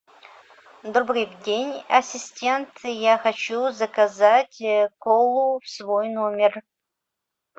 добрый день ассистент я хочу заказать колу в свой номер